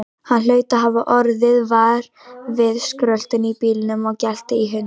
Hann hlaut að hafa orðið var við skröltið í bílnum og geltið í hundinum.